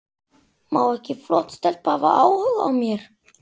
Má ekki flott stelpa hafa áhuga á mér?